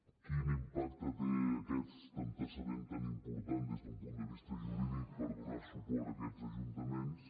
quin impacte té aquest antecedent tan important des d’un punt de vista jurídic per donar suport a aquests ajuntaments